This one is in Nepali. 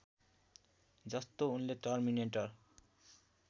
जस्तो उनले टर्मिनेटर